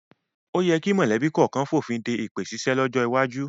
O yẹ kí mọ̀lẹ́bí kọ̀ọ̀kan fònfin de èpè ṣíṣe lọ́jọ́ iwájú